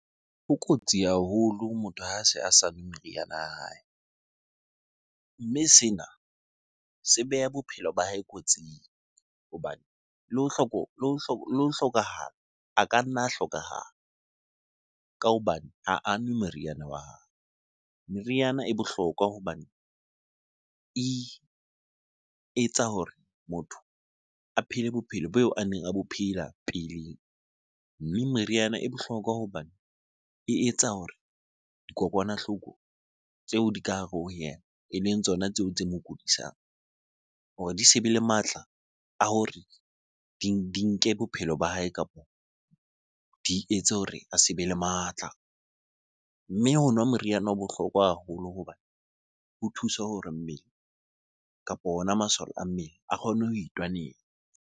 Ho kotsi haholo motho ha a se a sa nwe meriana ya hae. Mme sena se beha bophelo ba hae kotsing hobane le ho hlokahala a ka nna a hlokahala ka hobane ha a nwe meriana wa hae. Meriana e bohlokwa hobane e etsa hore motho a phele bophelo boo a neng a bo phela peleng. Mme meriana e bohlokwa hobane e etsa hore dikokwanahloko tseo di ka hare ho yena eleng tsona tseo tse mo kudisang hore di se be le matla a hore di nke bophelo ba hae, kapa di etse hore a se be le matla. Mme ho nwa moriana o bohlokwa haholo hobane ho thusa hore mmele kapo ona masole a mmele a kgone ho itwanela.